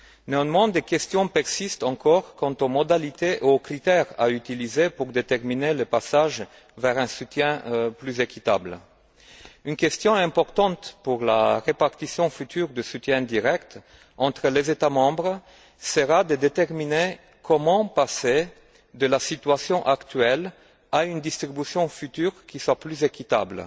Néanmoins des questions persistent encore quant aux modalités et aux critères à utiliser pour déterminer le passage vers un soutien plus équitable. Une question importante pour la répartition future du soutien direct entre les États membres sera de déterminer comment passer de la situation actuelle à une distribution future qui sera plus équitable,